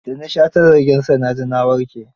Da na sha tazargen sa na ji na warke.